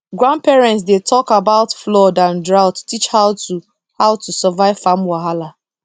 grandparents dey talk about flood and drought to teach how to how to survive farm wahala